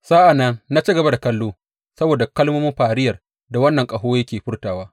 Sa’an nan na ci gaba da kallo saboda kalmomin fariyar da wannan ƙaho yake furtawa.